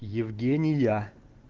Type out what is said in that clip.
евгения